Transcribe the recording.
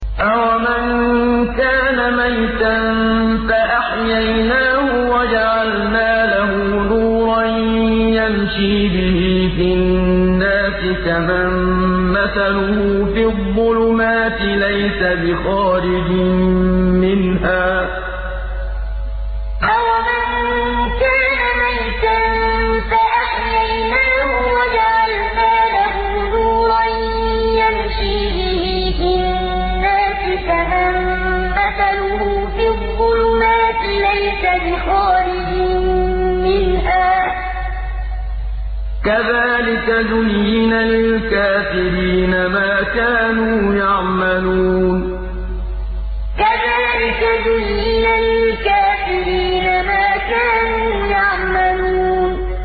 أَوَمَن كَانَ مَيْتًا فَأَحْيَيْنَاهُ وَجَعَلْنَا لَهُ نُورًا يَمْشِي بِهِ فِي النَّاسِ كَمَن مَّثَلُهُ فِي الظُّلُمَاتِ لَيْسَ بِخَارِجٍ مِّنْهَا ۚ كَذَٰلِكَ زُيِّنَ لِلْكَافِرِينَ مَا كَانُوا يَعْمَلُونَ أَوَمَن كَانَ مَيْتًا فَأَحْيَيْنَاهُ وَجَعَلْنَا لَهُ نُورًا يَمْشِي بِهِ فِي النَّاسِ كَمَن مَّثَلُهُ فِي الظُّلُمَاتِ لَيْسَ بِخَارِجٍ مِّنْهَا ۚ كَذَٰلِكَ زُيِّنَ لِلْكَافِرِينَ مَا كَانُوا يَعْمَلُونَ